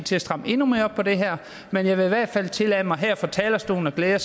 til at stramme endnu mere op på det her men jeg vil i hvert fald tillade mig her fra talerstolen at glæde